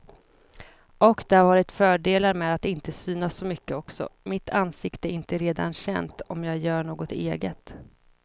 Och det har varit fördelar med att inte synas så mycket också, mitt ansikte är inte redan känt om jag gör något eget.